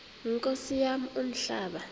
nkosi yam umhlaba